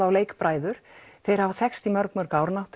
og þeir hafa þekkst í mörg mörg ár